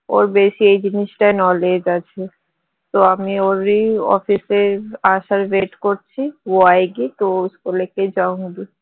ওর বেশি এই জিনিসটায় knowledge আছে তো আমি ওরই office এ আসার wait করছি